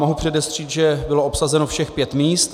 Mohu předestřít, že bylo obsazeno všech pět míst.